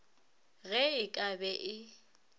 ge e ka be e